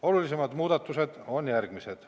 Olulisemad muudatused on järgmised.